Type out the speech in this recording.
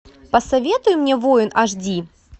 посоветуй мне воин аш ди